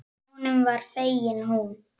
Honum var fengin hún.